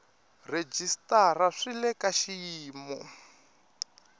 rhejisitara swi le ka xiyimo